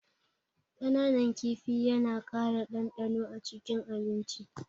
Kananan kifi yana ƙara ɗanɗano acikin abinci.